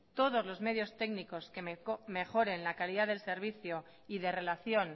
todos los medios técnicos que mejoren la calidad del servicio y de relación